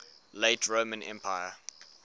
late roman empire